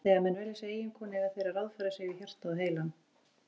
Þegar menn velja sér eiginkonu eiga þeir að ráðfæra sig við hjartað og heilann.